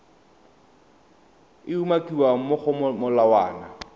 e umakiwang mo go molawana